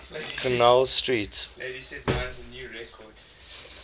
connell street